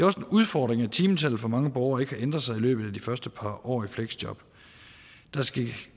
også en udfordring at timetallet for mange borgere ikke har ændret sig i løbet af de første par år i fleksjob der skal